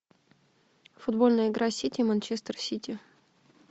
футбольная игра сити манчестер сити